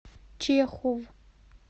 чехов